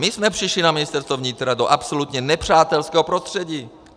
My jsme přišli na Ministerstvo vnitra do absolutně nepřátelského prostředí.